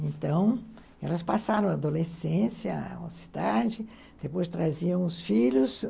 Então, elas passaram a adolescência na cidade, depois traziam os filhos.